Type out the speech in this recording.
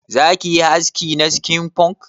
Za ki yi haski na skin punk?